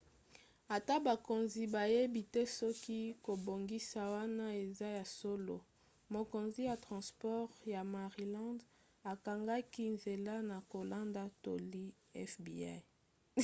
ata bakonzi bayebi te soki kobongisa wana eza ya solo mokonzi ya transport ya maryland akangaki nzela na kolanda toli ya fbi